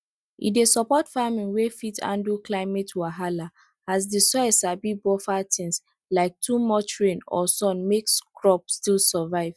e dey support farming wey fit handle climate wahala as the soil sabi buffer things like too much rain or sun make crop still survive